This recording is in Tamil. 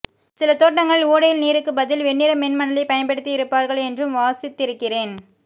சில தோட்டங்களில் ஓடையில் நீருக்கு பதில் வெண்ணிற மென் மணலை பயன்படுத்தியிருப்பார்கள் என்றும் வாசித்திருக்கிறேன்